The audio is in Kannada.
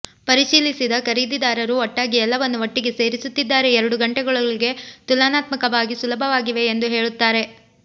ಪರಿಶೀಲಿಸಿದ ಖರೀದಿದಾರರು ಒಟ್ಟಾಗಿ ಎಲ್ಲವನ್ನು ಒಟ್ಟಿಗೆ ಸೇರಿಸುತ್ತಿದ್ದಾರೆ ಎರಡು ಗಂಟೆಗಳೊಳಗೆ ತುಲನಾತ್ಮಕವಾಗಿ ಸುಲಭವಾಗಿವೆ ಎಂದು ಹೇಳುತ್ತಾರೆ